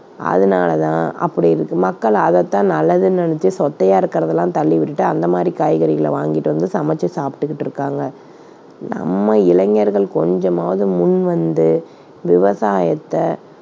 அதனால தான் அப்படி இருக்கு. மக்கள் அதைத் தான் நல்லதுன்னு நினைச்சு சொத்தையா இருக்கிறதை எல்லாம் தள்ளி விட்டுட்டு, அந்த மாதிரிக் காய்கறிகளை வாங்கிட்டு வந்து சமைச்சு சாப்பிட்டுகிட்டு இருக்காங்க. நம்ம இளைஞர்கள் கொஞ்சமாவது முன் வந்து விவசாயத்தை